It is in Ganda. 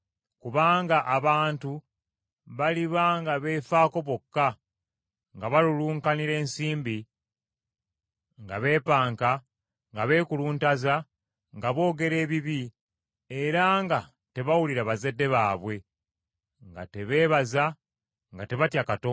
Kubanga abantu baliba nga beefaako bokka, nga balulunkanira ensimbi, nga beepanka, nga beekuluntaza, nga boogera ebibi, era nga tebawulira bazadde baabwe, nga tebeebaza, nga tebatya Katonda,